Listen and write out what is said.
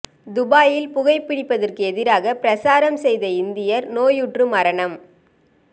துபாயில் புகை பிடிப்பதற்கு எதிராக பிரசாரம் செய்த இந்தியர் நோயுற்று மரணம்